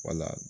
Wala